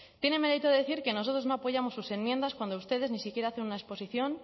tiene mérito de decir que nosotros no apoyamos sus enmiendas cuando ustedes ni siquiera hacen una exposición